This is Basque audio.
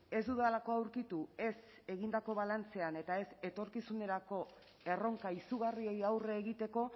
ez dudalako aurkitu ez egindako balantzean eta ez etorkizunerako erronka izugarriei aurre egiteko